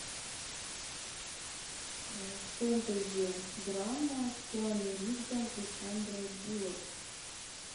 фэнтези драма с киану ривзом и сандрой буллок